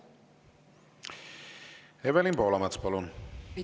Evelin Poolamets, palun!